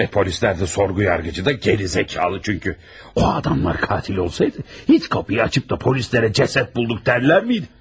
Və polislər də, sorğu yargıcı da gicbəyindir, çünki o adamlar qatil olsaydı, heç qapını açıb da polislərə cəsəd bulduq dərlərmiydi?